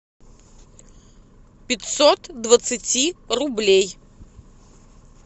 пятьсот двадцати рублей